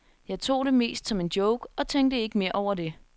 Jeg tog det mest som en joke og tænkte ikke mere over det.